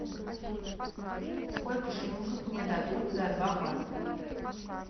сколько шиллингов мне дадут за два бат